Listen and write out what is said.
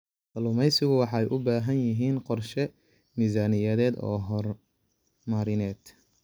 Kalluumaysigu waxay u baahan yihiin qorshe miisaaniyadeed oo horumarineed.